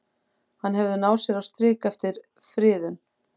Hefur hann náð sér á strik eftir friðun?